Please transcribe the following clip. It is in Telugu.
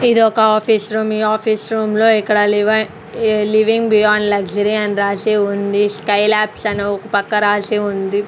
ఇది ఒక ఆఫీసు రూమ్ ఈ ఆఫీస్ రూమ్ లో ఇక్కడ లివైన్ లివింగ్ బియాన్ లగ్జరీ అని రాసి ఉంది స్కై లాబ్స్ అని ఒ పక్కన రాసి ఉంది.